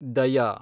ದಯಾ